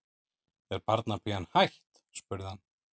Er barnapían hætt? spurði hann.